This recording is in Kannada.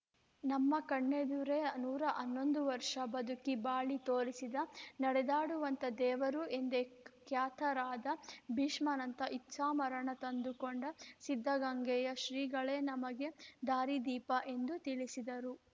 ನಮ್ಮ ಕಣ್ಣೇದುರೆ ನೂರ ಹನ್ನೊಂದು ವರ್ಷ ಬದುಕಿ ಬಾಳಿ ತೋರಿಸಿದ ನಡೆದಾಡುವ ದೇವರು ಎಂದೇ ಖ್ಯಾತರಾದ ಭೀಷ್ಮನಂತೆ ಇಚ್ಛಾಮರಣ ತಂದುಕೊಂಡು ಸಿದ್ಧಗಂಗೆಯ ಶ್ರೀಗಳೇ ನಮಗೆ ದಾರಿ ದೀಪ ಎಂದು ತಿಳಿಸಿದರು